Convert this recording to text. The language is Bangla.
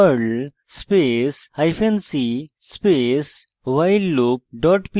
perl space hyphen c space whileloop dot pl